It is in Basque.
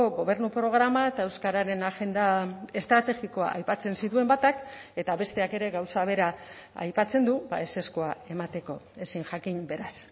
gobernu programa eta euskararen agenda estrategikoa aipatzen zituen batak eta besteak ere gauza bera aipatzen du ezezkoa emateko ezin jakin beraz